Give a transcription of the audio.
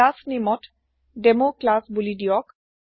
class নেমত demo class বুলিদিয়ক